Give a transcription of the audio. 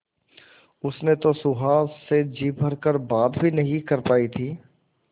उसने तो सुहास से जी भर कर बात भी नहीं कर पाई थी